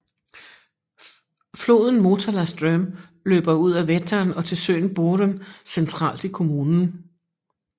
Floden Motala ström løber ud af Vättern og til søen Boren centralt i kommunen